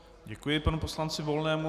Děkuji panu poslanci Volnému.